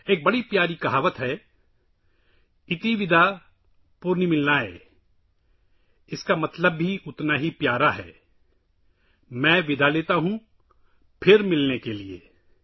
ایک بہت ہی پیاری کہاوت ہے –’اِتی ویداپنرملانیہ‘، اس کا مطلب بھی اتنا ہی پیارا ہے، میں الوداع کہتا ہوں، دوبارہ ملنے کے لیے